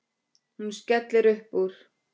Hún skellir upp úr.